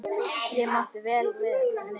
Ég mátti vel við því.